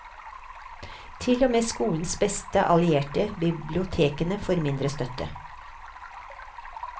Til og med skolens beste allierte, bibliotekene, får mindre støtte.